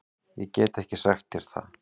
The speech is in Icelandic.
Ég get ekki sagt þér það.